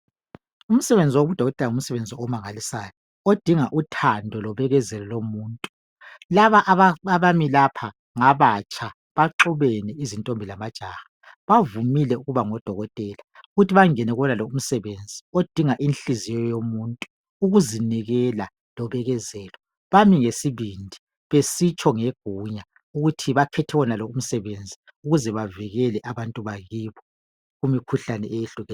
Umsebenzi wokuba ngudokotela ngumsebenzi omangalisayo odinga uthando lobekezelo lomuntu laba abami lapha ngabatsha izntntombi lamajaha baxubene bavumile ukuba ngodokoteka ukuthi bangene kuwonao umsebenzi odinga inhliziyo yomuntu ukuzinikela lobekezelo bami ngesibindi besitsho ngegunya ukuthi bakhethe wonalo umsebenzi ukuze bavikele abantu bakibo kumikhuhlane